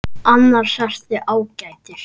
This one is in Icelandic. Annars ertu ágætur.